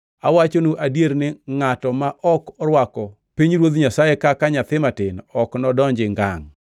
Awachonu adier ni ngʼato ma ok orwako pinyruoth Nyasaye kaka nyathi matin ok nodonji ngangʼ.”